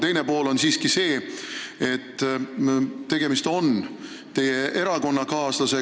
Teine pool on see, et tegemist on teie erakonnakaaslasega.